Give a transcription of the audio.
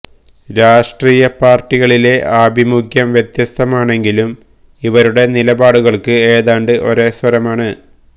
രാഷ്ട്രീയ പാർട്ടികളിലെ ആഭിമുഖ്യം വ്യത്യസ്തമാണെങ്കിലും ഇവരുടെ നിലപാടുകൾക്ക് ഏതാണ്ട് ഒരേ സ്വരമാണ്